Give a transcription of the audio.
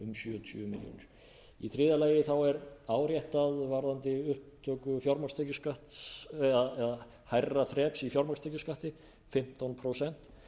milljónir í þriðja allt er áréttað varðandi upptöku fjármagnstekjuskatti eða hærra þreps í fjármagnstekjuskatti fimmtán prósent